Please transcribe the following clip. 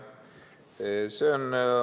See on ...